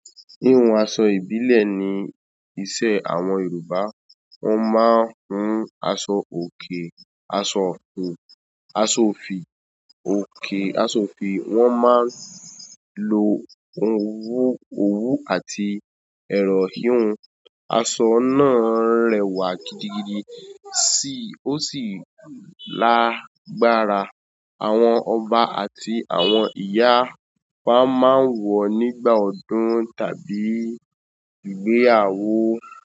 Híhun aṣọ ìbílẹ̀ ni iṣẹ́ àwọn Yorùbá. Wọ́n máa ń hun aṣọ òkè, aṣọ ọ̀fù, aṣọ òfì, òkè aṣọ òfì. Wọ́n máa ń lo òwú, òwú àti ẹ̀ran híhun. Aṣọ na rẹwà gidi gidi o si, o si lágbára. Àwọn ọba àti àwọn ìyá wa, máa wọ́ ọ́ nígbà ọdún tàbí ìgbéyàwó.